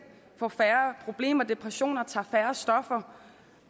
får færre problemer depressioner og tager færre stoffer